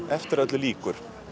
eftir að öllu lýkur